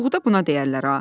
Buğda buna deyərlər ha.